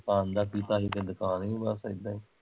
ਦੁਕਾਨ ਦਾ ਕੀਤਾ ਸੀ ਤੇ ਦੁਕਾਨ ਵੀ ਬਸ ਏਦਾ ਈ